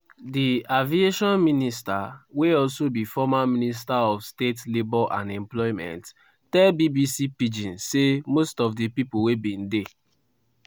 di aviation minister wey also be former minister of state labour and employment tell bbc pidgin say most of di pipo wey bin dey